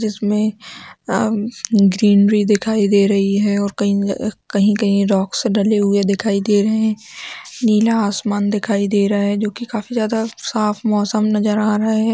जिसमे अउम ग्रीनरी दिखायी दे रही हैं और कहीं कही कही रॉक्स डले हुए दिखायी दे रहे हैं नीला आसमान दिखायी दे रहा हैं जो की काफी ज्यादा साफ मौसम नज़र आ रहा है।